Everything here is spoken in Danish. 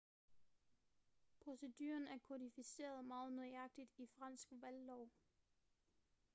proceduren er kodificeret meget nøjagtigt i fransk valglov